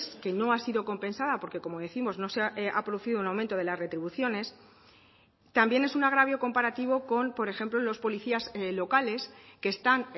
que no ha sido compensada porque como décimos no se ha producido un aumento de las retribuciones también es un agravio comparativo con por ejemplo los policías locales que están